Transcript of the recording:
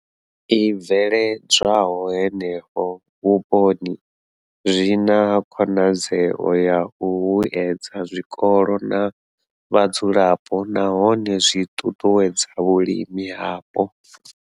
I bveledzwaho henefho vhuponi zwi na khonadzeo ya u vhuedza zwikolo na vhadzulapo nahone zwi ṱuṱuwedza vhulimi hapo.